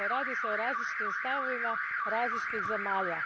Dakle, radi se o različitim stavovima različitih zemalja.